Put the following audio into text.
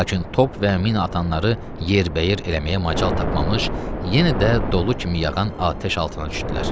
Lakin top və min atanları yerbəyer eləməyə macal tapmamış, yenə də dolu kimi yağan atəş altına düşdülər.